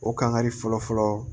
O kangari fɔlɔ fɔlɔ